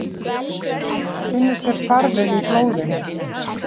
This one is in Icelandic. Finnur sér farveg í blóðinu.